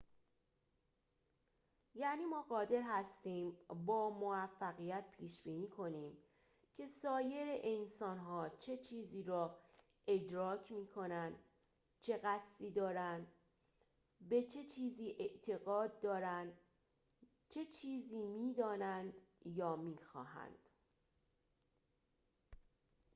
یعنی ما قادر هستیم با موفقیت پیش‌بینی کنیم که سایر انسانها چه چیزی را ادراک می‌کنند چه قصدی دارند به چه چیزی اعتقاد دارند چه چیزی می‌دانند یا می‌خواهند